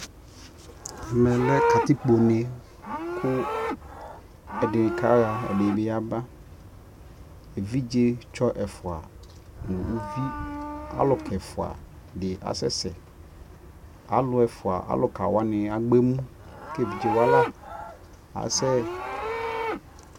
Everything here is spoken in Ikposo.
ɛmɛ lɛ katikpɔ nɛ kʋ ɛdinikaha ɛdibi kaba, ɛvidzɛ tsɔ ɛƒʋa nʋ ʋvi alʋka ɛƒʋa di asɛsɛ, alʋ ɛƒʋɛ alʋka wani agbɔ ɛmʋ kɛ ɛvidzɛ wala asɛ